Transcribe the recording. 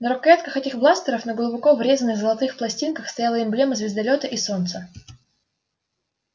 на рукоятках этих бластеров на глубоко врезанных золотых пластинках стояла эмблема звездолёта и солнца